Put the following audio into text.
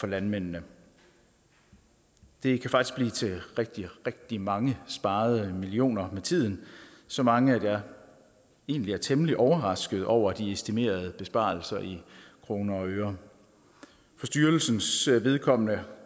landmændene det kan faktisk blive til rigtig rigtig mange sparede millioner med tiden så mange at jeg egentlig er temmelig overrasket over de estimerede besparelser i kroner og øre for styrelsens vedkommende